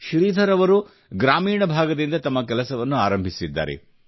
ಶ್ರೀಧರ್ ಅವರು ಗ್ರಾಮೀಣ ಭಾಗದಿಂದ ತಮ್ಮ ಕೆಲಸವನ್ನು ಆರಂಭಿಸಿದ್ದಾರೆ